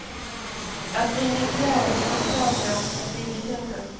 Att ringa fjärrsamtal blir också billigare.